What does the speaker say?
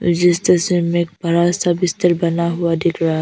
मुझे इस तस्वीर में एक बड़ा सा बिस्तर बना हुआ दिख रहा--